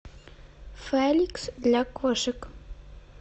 феликс для кошек